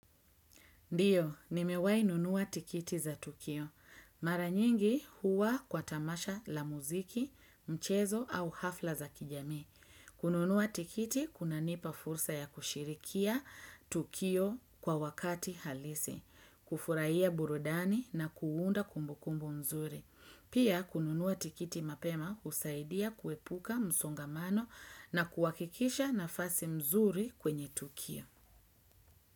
Ndiyo, nimewai nunua tikiti za tukio. Mara nyingi, huwa kwa tamasha la muziki, mchezo au hafla za kijami. Kununua tikiti kunanipa fursa ya kushirikia tukio kwa wakati halisi, kufurahiya burudani na kuunda kumbukumbu mzuri. Pia, kununua tikiti mapema usaidia kuepuka msongamano na kuhakikisha nafasi mzuri kwenye tukio.